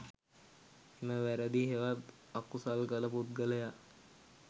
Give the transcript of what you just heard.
එම වැරැදි හෙවත් අකුසල් කළ පුද්ගලයා